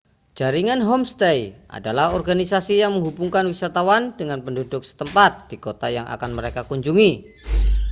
jaringan homestay adalah organisasi yang menghubungkan wisatawan dengan penduduk setempat di kota yang akan mereka kunjungi